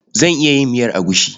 Zan iya yin miyar agushi.